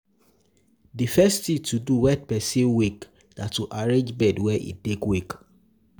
Di first thing to do when person wake na to arrange bed wey im take sleep